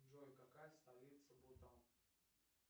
джой какая столица бутан